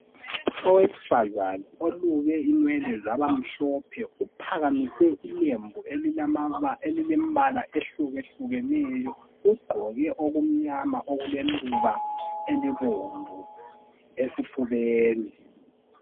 Owesifazana oluke inwele zabamhlophe ,uphakamise ilembu elilembala ehlukahlukeneyo .Ugqoke okumnyama okuleluba elibomvu esifubeni .